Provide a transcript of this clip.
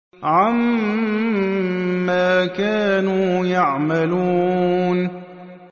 عَمَّا كَانُوا يَعْمَلُونَ